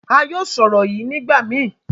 a yóò sọ ọrọ yíì nigbamii.